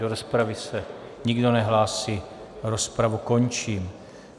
Do rozpravy se nikdo nehlásí, rozpravu končím.